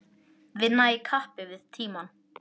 Vinna í kappi við tímann